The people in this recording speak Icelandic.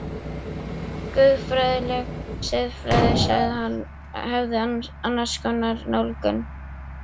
Guðfræðileg siðfræði, sagði hann, hefði annars konar nálgun.